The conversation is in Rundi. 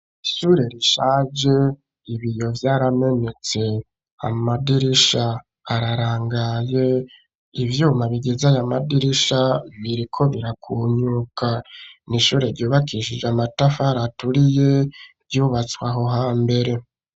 Ishure rishaje ibiyo vyaramenetse amadirisha ararangaye ivyuma bigeze aya madirisha biriko birakunyuka n'ishure ryubakishije amatafari aturiye vyubatswe aho hambere.